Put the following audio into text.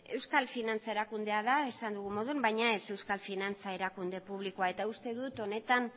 euskal finantza erakundea da esan dugun moduan baina ez euskal finantza erakunde publikoa eta uste dut honetan